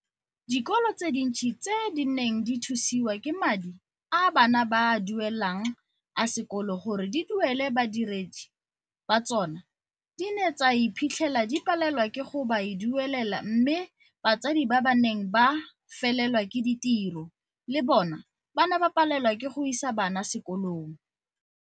Dikolo tse dintsi tse di neng di thusiwa ke madi a bana ba a duele lang a sekolo gore di duele badiredi ba tsona di ne tsa iphitlhela di palelwa ke go ba duelela mme batsadi ba ba neng ba felelwa ke ditiro le bona ba ne ba palelwa ke go isa bana sekolong.